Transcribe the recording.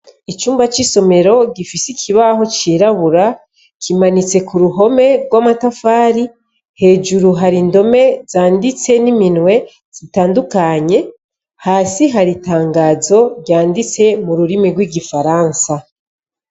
Icumba c'isomero gifise ikibaho cirabura, kimanitse ku ruhome rw'amatafari. Hejuru hari indome zanditse n'iminwe, zitandukanye, hasi hari itangazo ryanditse mu rurimi rw'gifaransa.